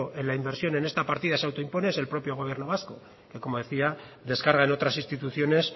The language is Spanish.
en la inversión en esta partida se auto impone es el propio gobierno vasco que como decía descarga en otras instituciones